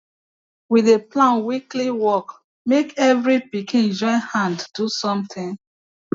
we dey plan weekly work make every pikin join hand do something